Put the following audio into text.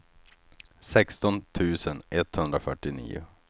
sexton tusen etthundrafyrtionio